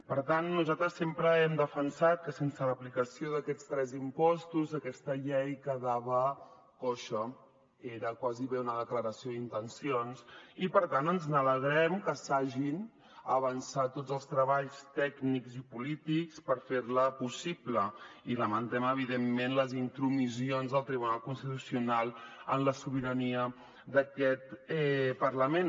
per tant nosaltres sempre hem defensat que sense l’aplicació d’aquests tres impostos aquesta llei quedava coixa era gairebé una declaració d’intencions i per tant ens n’alegrem que s’hagin avançat tots els treballs tècnics i polítics per fer la possible i lamentem evidentment les intromissions del tribunal constitucional en la sobirania d’aquest parlament